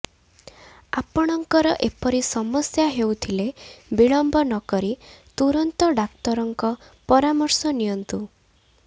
ଆପଣଙ୍କର ଏପରି ସମସ୍ୟା ହେଉଥିଲେ ବିଳମ୍ବ ନ କରି ତୁରନ୍ତ ଡାକ୍ତରଙ୍କ ପରାମର୍ଶ ନିଅନ୍ତୁ